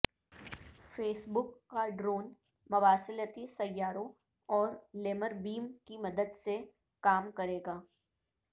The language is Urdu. فیس بک کا ڈرون مواصلاتی سیاروں اور لیمر بیم کی مدد سے کام کرے گا